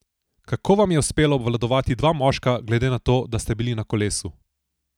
Kako vam je uspelo obvladati dva moška, glede na to, da ste bili na kolesu?